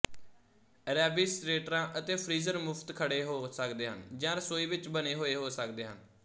ਰੈਫ੍ਰਿਜਰੇਟਰਾਂ ਅਤੇ ਫਰੀਜ਼ਰ ਮੁਫਤਖੜ੍ਹੇ ਹੋ ਸਕਦੇ ਹਨ ਜਾਂ ਰਸੋਈ ਵਿਚ ਬਣੇ ਹੋਏ ਹੋ ਸਕਦੇ ਹਨ